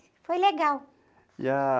Foi legal., ah,